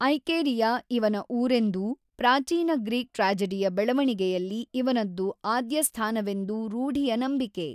ಐಕೇರಿಯ ಇವನ ಊರೆಂದೂ ಪ್ರಾಚೀನ ಗ್ರೀಕ್ ಟ್ರ್ಯಾಜಡಿಯ ಬೆಳೆವಣಿಗೆಯಲ್ಲಿ ಇವನದ್ದು ಆದ್ಯಸ್ಥಾನವೆಂದೂ ರೂಢಿಯ ನಂಬಿಕೆ.